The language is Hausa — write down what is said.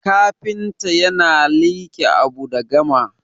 kafinta yana like Abu da gama